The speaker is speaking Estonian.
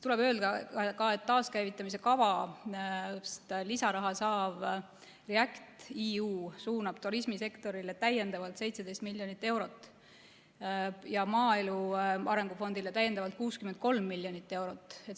Tuleb öelda, et taaskäivitamise kavast lisaraha saav REACT‑EU suunab turismisektorile täiendavalt 17 miljonit eurot ja maaelu arengu fondile 63 miljonit eurot.